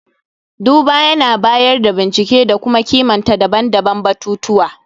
duba yAna bayar da bincike da kuma kimanta daban-daban batutuwa